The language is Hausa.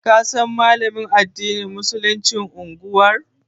Ka san Malamin addinin Musuluncin unguwar mu.